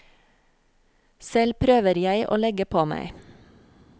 Selv prøver jeg å legge på meg.